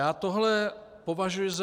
Já tohle považuji za...